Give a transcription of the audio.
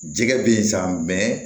Jɛgɛ bɛ yen sa